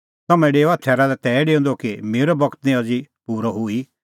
तम्हैं डेओआ थैरा लै हुंह निं एऊ थैरा लै तै डेऊंदअ कि मेरअ बगत निं अज़ी पूरअ हुई